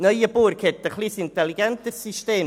Neuenburg verfügt über ein etwas intelligenteres System.